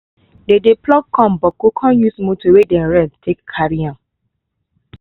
dey dey pluck corn boku con use motor wey dem rent take carry am